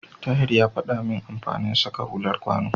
Tahir ya faɗa min amfanin saka hular kwano.